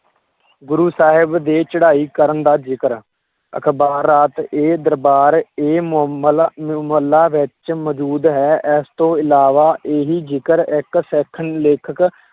ਗੁਰੂੁ ਸਾਹਿਬ ਦੇ ਚੜਾਈ ਕਰਨ ਦਾ ਜ਼ਿਕਰ ਅਖਬਾਰ ਇਹ ਦਰਬਾਰ ਵਿੱਚ ਮੋਜੂਦ ਹੈ। ਇਸ ਤੋਂ ਇਲਾਵਾ ਇਹਦੀ ਜ਼ਿਕਰ ਇਕ ਸਿੱਖ ਲੇਖਕ